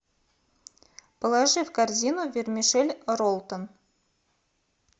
положи в корзину вермишель роллтон